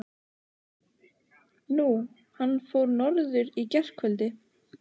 Nú. hann fór norður í gærkvöldi.